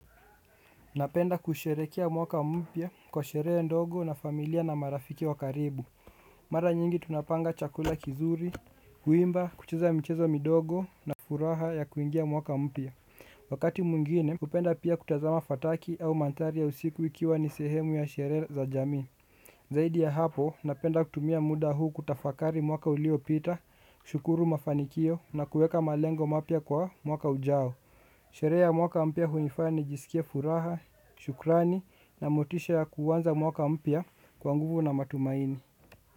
Napenda kusherekea mwaka mpya kwa sherehe ndogo na familia na marafiki wa karibu. Mara nyingi tunapanga chakula kizuri, kuimba, kucheza michezo midogo na furaha ya kuingia mwaka mpya. Wakati mwingine, hupenda pia kutazama fataki au mandhari ya usiku ikiwa ni sehemu ya sherehe za jamii. Zaidi ya hapo, napenda kutumia muda huu kutafakari mwaka uliyopita, shukuru mafanikio na kuweka malengo mapya kwa mwaka ujao. Sherehe mwaka mpya hunifanya nijisikie furaha, shukrani na motisha ya kuanza mwaka mpya kwa nguvu na matumaini.